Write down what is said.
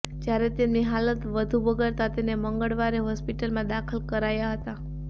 જ્યારે તેમની હાલત વધુ બગડતાં તેને મંગળવારે હોસ્પિટલમાં દાખલ કરાયા હતા